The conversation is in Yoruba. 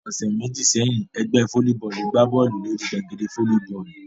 Ọ̀sẹ̀ méjì sẹ́yìn, ẹgbẹ́ fólíbọọlù gbá Bọ́ọ̀lù lórí gbàgede fólíbọọlù